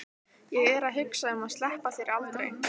Ég er að hugsa um að sleppa þér aldrei.